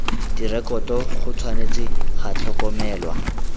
direkoto go tshwanetse ga tlhokomelwa